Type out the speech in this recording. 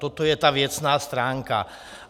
Toto je ta věcná stránka.